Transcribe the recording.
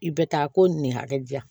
I bɛ taa ko ni ne hakɛ ja